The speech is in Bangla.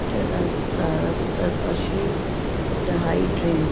এটি রাস্তা রাস্তার পাশে একটা হাই ডেন ।